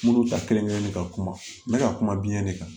Minnu ta kelen kelen ka kuma n bɛ ka kuma biɲɛ de kan